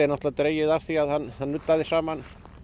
dregið af því að hann nuddaði saman